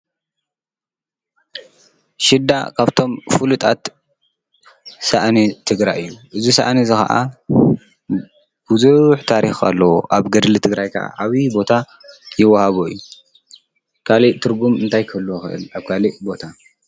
ሽዳ ካብቶም ፍሉጣት ሳእኒ ትግራይ እዩ፡፡ እዝ ሰእዚ እዚ ኸዓ ብዙሕ ታሪኽ ኣለዎ፡፡ ኣብ ገድሊ ትግራይ ከዓ ዓብዪ ቦታ ይወሃቦ እዩ፡፡ ካልእ ትርጉም እንታይ ከልህልዎ ይኽእል ኣብ ካልእ ቦታ?